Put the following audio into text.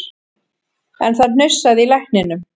En það hnussaði í lækninum